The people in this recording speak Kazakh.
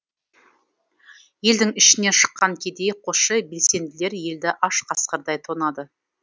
елдің ішінен шыққан кедей қосшы белсенділер елді аш қасқырдай тонады